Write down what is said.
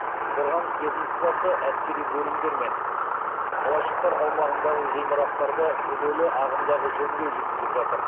қорғаныс ведомствосы әскери бөлімдер мен қалашықтар аумағындағы ғимараттарды күрделі ағымдағы жөндеу жүргізіп жатыр